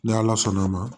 Ni ala sɔnn'a ma